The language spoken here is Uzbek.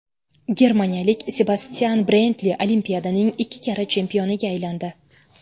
Germaniyalik Sebastyan Brendli Olimpiadaning ikki karra chempioniga aylandi.